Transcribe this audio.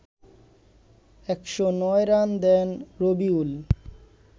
১০৯ run দেন রবিউল